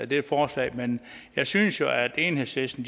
det forslag men jeg synes jo at enhedslisten